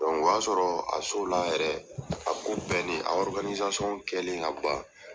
o y'a sɔrɔ a la yɛrɛ, a ko bɛnni a kɛlen ka ban,